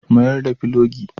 Mayar da filogi.